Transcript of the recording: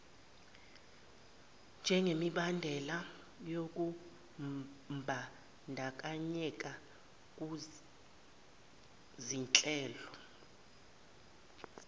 njengemibandela yokumbandakanyeka kuzinhlelo